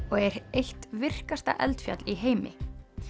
og er eitt virkasta eldfjall í heimi